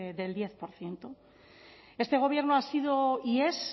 del diez por ciento este gobierno ha sido y es